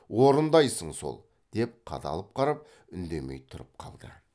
орындайсың сол деп қадалып қарап үндемей тұрып қалды